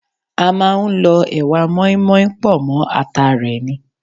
A máa ń lọ ẹwà mọ́ínmọ́ín pọ̀ mọ́ ata rẹ ni.